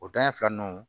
O dan ye fila nunnu